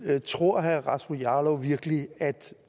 nu tror jeg